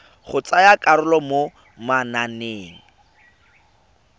go tsaya karolo mo mananeng